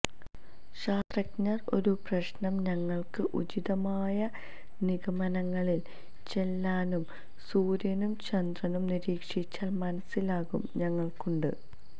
ശാസ്ത്രജ്ഞർ ഒരു പ്രശ്നം ഞങ്ങൾക്ക് ഉചിതമായ നിഗമനങ്ങളിൽ ചെല്ലാനും സൂര്യനും ചന്ദ്രനും നിരീക്ഷിച്ചാൽ മനസ്സിലാകും ഞങ്ങൾക്കുണ്ട്